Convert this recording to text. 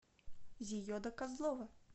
зиеда козлова